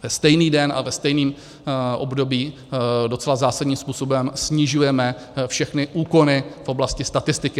Ve stejný den a ve stejném období docela zásadním způsobem snižujeme všechny úkony v oblasti statistiky.